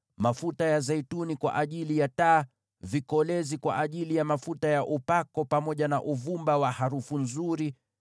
mafuta ya zeituni kwa ajili ya taa; vikolezi kwa ajili ya mafuta ya upako, pamoja na uvumba wa harufu nzuri;